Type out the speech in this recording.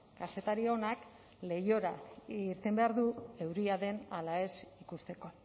kazetari onak leihora irten behar du euria den ala ez ikusteko